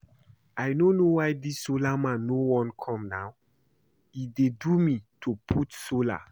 I no know why dis solar man no wan come now e dey do me to put solar